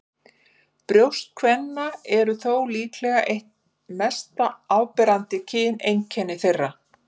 Brjóst kvenna eru þó líka eitt mest áberandi kyneinkenni þeirra.